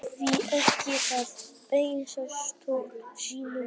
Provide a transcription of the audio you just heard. Hví ekki að beina spjótum sínum hingað í stað annarra landa?